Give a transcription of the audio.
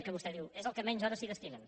que vostè diu és al qual menys hores es destinen